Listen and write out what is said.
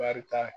Barika